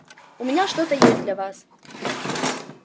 у меня что-то есть для вас